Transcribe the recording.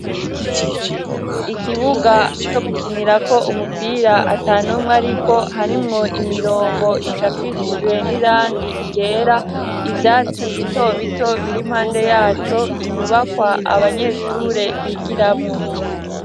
ikibuga co gukinirako umupira atanumwe ariko harimwo imirongo icapishijwe n'irangi ryera ivyatsi bitobito birimpande yaco inyubakwa abanyeshure bigiramwo